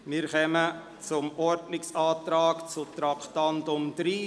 Wir kommen zum Ordnungsantrag betreffend Traktandum 30.